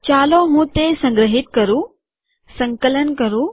ચાલો હું તે સંગ્રહિત કરું સંકલન કરું